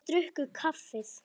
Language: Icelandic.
Þeir drukku kaffið.